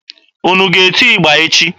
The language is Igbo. Unu ga-eti ịgba echi!